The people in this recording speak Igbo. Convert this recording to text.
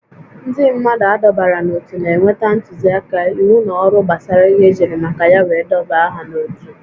Ndị mmadụ adọbara n'ótú na-enweta ntụzịaka, íwú na ọrụ gbasara ihe ejiri maka ya wee dọbaa ha n'otu